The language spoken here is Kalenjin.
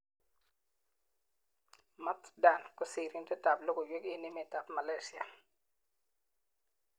Mat Dan ko sirindet ab logoiwek eng emet ab Malaysia.